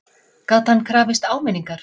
Gat hann krafist áminningar?